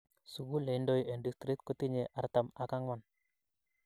Sugul ne indoi en district kotinyei artam ak ang'wan